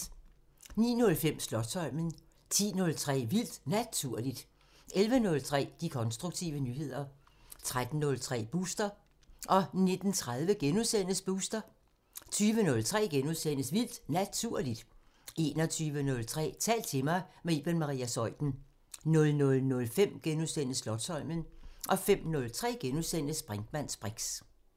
09:05: Slotsholmen 10:03: Vildt Naturligt 11:03: De konstruktive nyheder 13:30: Booster 19:30: Booster * 20:03: Vildt Naturligt * 21:03: Tal til mig – med Iben Maria Zeuthen 00:05: Slotsholmen * 05:03: Brinkmanns briks *